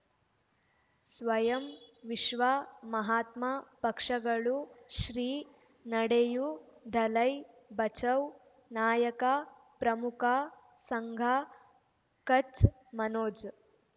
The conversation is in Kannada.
ಸ್ವಯಂ ವಿಶ್ವ ಮಹಾತ್ಮ ಪಕ್ಷಗಳು ಶ್ರೀ ನಡೆಯೂ ದಲೈ ಬಚೌ ನಾಯಕ ಪ್ರಮುಖ ಸಂಘ ಕಚ್ ಮನೋಜ್